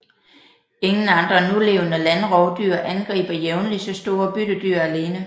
Ingen andre nulevende landrovdyr angriber jævnligt så store byttedyr alene